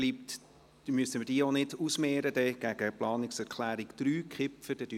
Somit müssen wir diese auch nicht gegen die Planungserklärung 3, Kipfer, ausmehren.